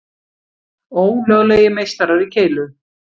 Ólöglegir meistarar í keilu